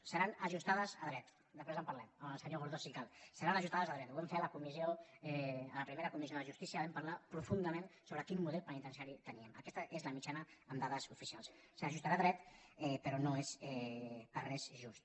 potser són ajustades a dret després en parlem amb el senyor gordó si cal seran ajustades a dret ho vam fer a la primera comissió de justícia vam parlar profundament sobre quin model penitenciari teníem aquesta és la mitjana amb dades oficials potser s’ajusta a dret però no és per res just